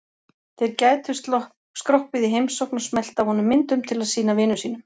Þeir gætu skroppið í heimsókn og smellt af honum myndum til að sýna vinum sínum.